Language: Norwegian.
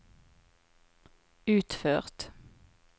utført